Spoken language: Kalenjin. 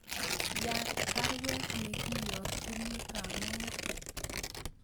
Yatt baruet negiyokyini bamongo